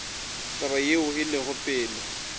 taba yeo e lego pele